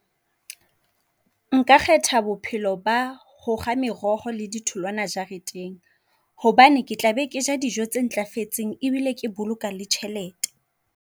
Nka kgetha bophelo ba hokga meroho le di tholwana jareteng. Hobane ke tla be ke ja dijo tse ntlafetseng e bile ke boloka le tjhelete.